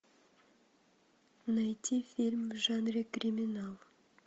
найти фильм в жанре криминал